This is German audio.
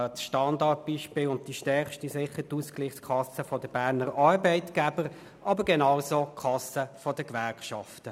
Das Standardbeispiel ist die Ausgleichskasse der Berner Arbeitgeber, aber genauso funktioniert auch die Kasse der Gewerkschaften.